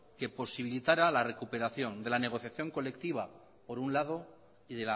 que posibilitara la recuperación de la negociación colectiva por un lado y